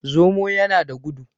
Zomo yana da gudu.